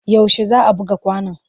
Yaushe za a buga kwanon?